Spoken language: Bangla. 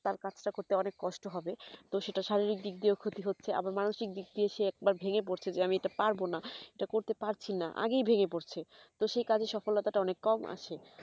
তার কাজ টা করতে অনেক কষ্ট হবে তো সেটা শারীরিক দিক দিয়েও ক্ষতি হচ্ছে আবার মানুষিক দিক দিয়েও সে একবার ভেঙে পড়ছে এটা পারবোনা এটা করতে পারছি না আগেই ভেঙে পড়ছে তো সেই কাজ এ সফলতা টা অনেক কম আসে